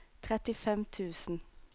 trettifem tusen